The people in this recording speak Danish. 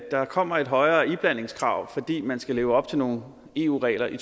der kommer et højere iblandingskrav fordi man skal leve op til nogle eu regler i